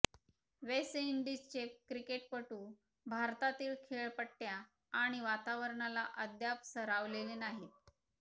waste इंडिजचे क्रिकेटपटू भारतातील खेळपट्टय़ा आणि वातावरणाला अद्याप सरावलेले नाहीत